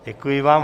Děkuji vám.